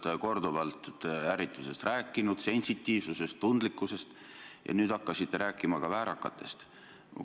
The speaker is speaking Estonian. Te olete korduvalt rääkinud ärritusest, sensitiivsusest, tundlikkusest, ja nüüd hakkasite rääkima ka väärakatest.